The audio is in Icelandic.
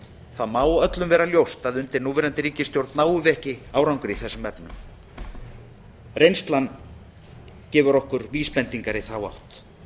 það má öllum vera ljóst að undir núverandi ríkisstjórn náum við ekki árangri í þessum efnum reynslan gefur okkur vísbendingar í þá átt